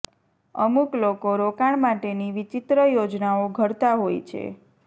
અમુક લોકો રોકાણ માટેની વિચિત્ર યોજનાઓ ઘડતા હોય છે